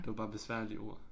Det var bare besværlige ord